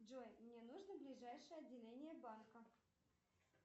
джой мне нужно ближайшее отделение банка